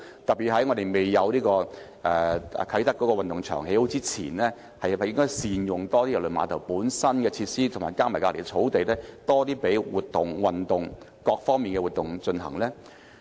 特別是在啟德運動場未落成之前，是否應該多加善用郵輪碼頭本身的設施及旁邊的草地，進行各類活動、運動呢？